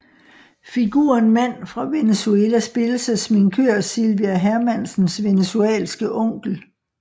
Figuren Mand fra Venezuela spilles af sminkør Silvia Hermansens venezuelanske onkel